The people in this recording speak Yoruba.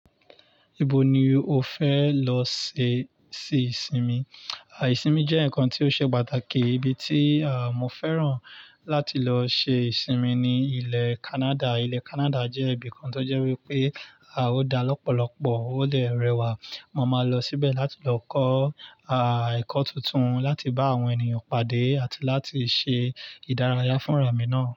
Ibo ni o fẹ lọ ṣe se ìsinmi? Àìsìnmi jẹ́ nǹkan tí ó ṣe pàtàkì. Ibi tí mọ́ fẹ́ràn láti lọ ṣe ìsinmi ni ilẹ̀ Canada. Ilẹ̀ Canada jẹ́ ibìkan tó jẹ́ wípé ó dá lọ́pọ̀lọ́pọ̀ ó dẹ̀ rẹwà. Mo máa lọ síbẹ̀ láti lọ kọ́ ẹ̀kọ́ tuntun, láti bá àwọn ènìyàn pàdé àti láti ṣe ìdárayá fúnra mi náà.